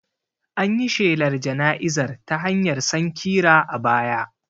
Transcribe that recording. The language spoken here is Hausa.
An yi shelar jana'izar ta hanyar sankira a baya